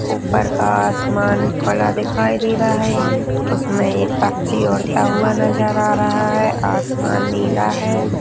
ऊपर का आसमान खुला दिखाई दे रहा है उसमें एक पक्षी उड़ता हुआ नजर आ रहा है आसमान नीला है।